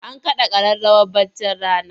An kaɗa ƙararrawar baccin rana?